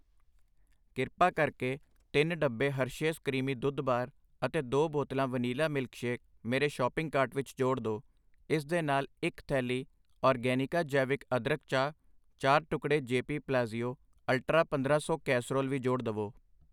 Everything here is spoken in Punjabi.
ਕ੍ਰਿਪਾ ਕਰਕੇ ਤਿੰਨ ਡੱਬੇ ਹਰਸ਼ੇਸ ਕਰੀਮੀ ਦੁੱਧ ਬਾਰ ਅਤੇ ਦੋ ਬੋਤਲਾਂ ਵਨੀਲਾ ਮਿਲਕਸ਼ੇਕ ਮੇਰੇ ਸ਼ੋਪਿੰਗ ਕਾਰਟ ਵਿੱਚ ਜੋੜ ਦੋI ਇਸ ਦੇ ਨਾਲ ਇੱਕ, ਥੈਲੀ ਆਰਗੈਨਿਕਾ ਜੈਵਿਕ ਅਦਰਕ ਚਾਹ, ਚਾਰ ਟੁਕੜੇ ਜੈਪੀ ਪਲਾਜ਼ਿਓ ਅਲਟ੍ਰਾ ਪੰਦਰਾਂ ਸੌ ਕੈਸੇਰੋਲ ਵੀ ਜੋੜ ਦਵੋ I